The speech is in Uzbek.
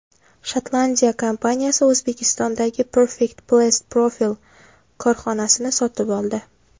Shotlandiya kompaniyasi O‘zbekistondagi Perfect Plast Profil korxonasini sotib oldi.